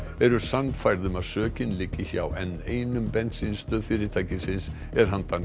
eru sannfærð um að sökin liggi hjá n eins bensínstöð fyrirtækisins er handan